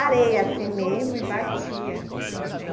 Areia assim mesmo e batia, né.